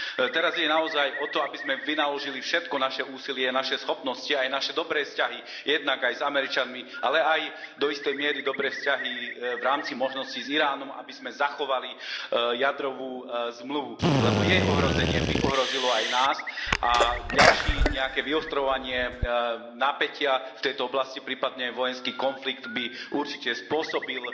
Teraz ide naozaj o to, aby sme vynaložili všetko naše úsilie, naše schopnosti aj naše dobré vzťahy jednak aj s Američanmi, ale aj do istej miery dobré vzťahy v rámci možností s Iránom, aby sme zachovali jadrovú zmluvu, lebo jej ohrozenie by ohrozilo aj nás, a nejaké ďalšie vyostrovanie napätia v tejto oblasti, prípadne vojenský konflikt, by určite spôsobili